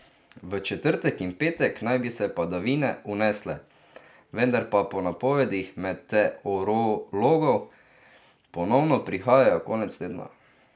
V četrtek in petek naj bi se padavine unesle, vendar pa po napovedih meteorologov ponovno prihajajo konec tedna.